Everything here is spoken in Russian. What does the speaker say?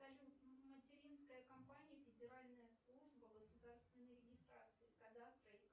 салют материнская компания федеральная служба государственной регистрации кадастра